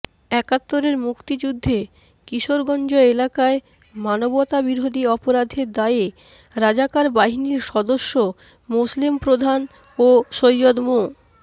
একাত্তরের মুক্তিযুদ্ধে কিশোরগঞ্জ এলাকায় মানবতাবিরোধী অপরাধের দায়ে রাজাকার বাহিনীর সদস্য মোসলেম প্রধান ও সৈয়দ মো